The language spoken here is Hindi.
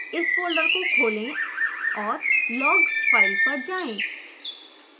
इस फोल्डर को खोलें और log file पर जाएँ